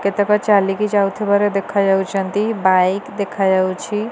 କେତକ ଚାଲିକି ଯାଉଥିବାର ଦେଖା ଯାଉଛନ୍ତି ବାଇକ୍ ଦେଖାଯାଉଛି।